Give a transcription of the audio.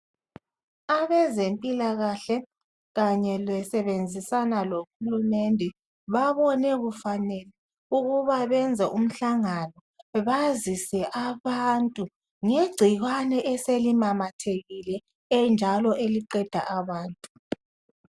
Abezempilakahle kanye besebenzisana lohulumende babone kufanele ukuba benzed umhlangano bazise abantu ngegcikwane eselimamathekile enjalo eliqeda abantu.